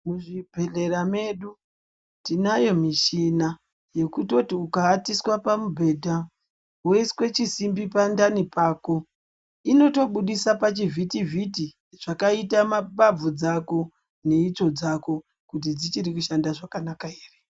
Muzvibhedhleya medu tinayo muchina yekutoti ukawatiswa pamubhedha woiswe chisimbi pandani pako inotobudise pachivhitivhiti zvakaita mbabvu dzako neitsvo dzako kuti dzichiri kushanda zvakanaka ere.